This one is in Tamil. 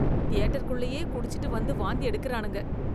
தியேட்டர்குள்ளேயே குடிச்சிட்டு வந்து வாந்தி எடுக்கிறானுங்க.